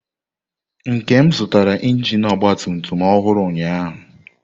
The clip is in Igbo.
Nkem zụtara injin ọgba tum tum ọhụrụ ụnyahụ.